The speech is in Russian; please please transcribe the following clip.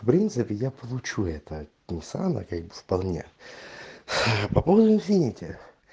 в принципе я получу это нисана как бы вполне ээ по поводу инфинити